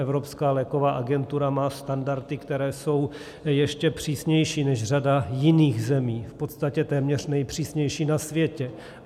Evropská léková agentura má standardy, které jsou ještě přísnější než řada jiných zemí, v podstatě téměř nejpřísnější na světě.